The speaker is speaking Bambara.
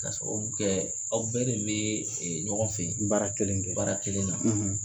K'a sababu kɛ aw bɛɛ de bɛ ɲɔgɔn fɛ baara kelen na.